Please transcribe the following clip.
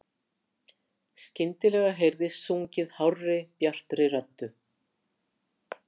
Skyndilega heyrist sungið hárri, bjartri röddu.